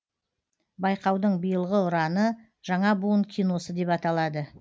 байқаудың биылғы ұраны жаңа буын киносы деп аталады